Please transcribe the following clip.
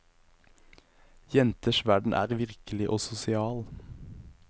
Jenters verden er virkelig og sosial.